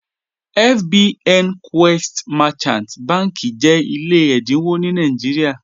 FBN Quest Merchant bànḳì jẹ́ ilẹ̀ ẹ̀dínwọ̀ ní Nàìjíríà.